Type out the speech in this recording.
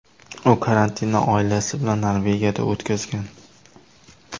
U karantinni oilasi bilan Norvegiyada o‘tkazgan .